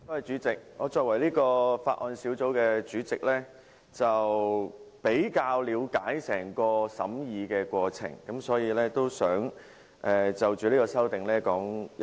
主席，我作為法案委員會主席，比較了解整個審議過程，所以我想就這項修正案發言。